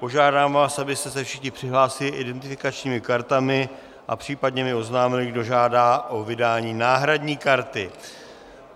Požádám vás, abyste se všichni přihlásili identifikačními kartami a případně mi oznámili, kdo žádá o vydání náhradní karty.